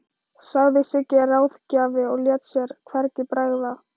sagði Siggi ráðgjafi og lét sér hvergi bregða.